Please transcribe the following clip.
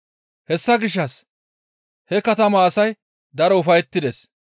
Hessa gishshas he katamaa asay daro ufayettides.